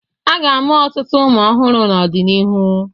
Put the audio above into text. A ga-amụ ọtụtụ ụmụ ọhụrụ n'ọdịnihu.